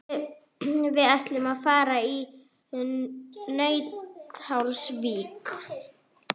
Við ætlum að fara í Nauthólsvík.